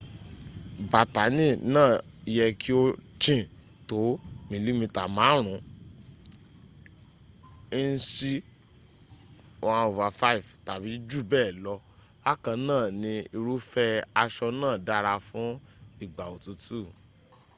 bátáni náà yẹ kí ó jìn tó mìlímítà márùn ún ínṣì 1/5 tàbí jù bẹ́ẹ̀ lọ bákan náà ni irúfẹ́ aṣọ náà dára fún ìgbà òtútù